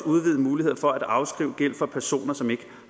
udvidede muligheder for at afskrive gæld for personer som ikke